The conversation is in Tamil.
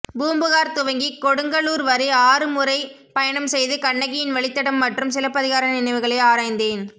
பூம்பூகார் துவங்கி கொடுங்கலூர் வரை ஆறு முறை பயணம் செய்து கண்ணகியின் வழித்தடம் மற்றும் சிலப்பதிகார நினைவுகளை ஆராய்ந்தேன்